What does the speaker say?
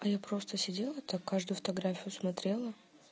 а я просто сидела так каждую фотографию смотрела